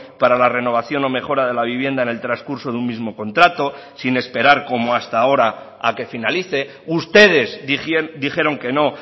para la renovación o mejora de la vivienda en el transcurso de un mismo contrato sin esperar como hasta ahora a que finalice ustedes dijeron que no